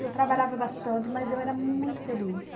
Eu trabalhava bastante, mas eu era muito feliz.